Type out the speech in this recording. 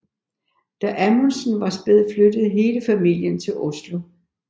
Da Amundsen var spæd flyttede hele familien til Oslo